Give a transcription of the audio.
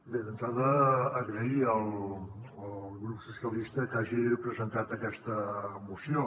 bé d’entrada d’agrair al grup socialista que hagi presentat aquesta moció